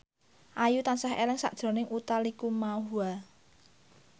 Ayu tansah eling sakjroning Utha Likumahua